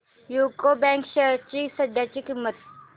UCO bank shares ची सध्याची किंमत